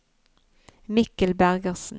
Mikkel Bergersen